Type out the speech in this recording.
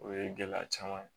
O ye gɛlɛya caman ye